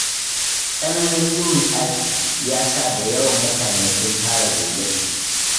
Tsananin duhun ɗakin, ya sa da yawan mutane sun fara gyangyaɗi.